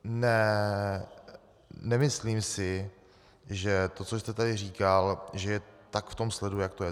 Nemyslím si, že to, co jste tady říkal, že to je v tom sledu, jak to je.